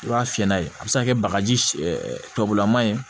I b'a fiyɛ n'a ye a be se ka kɛ bagaji tɔbulama ye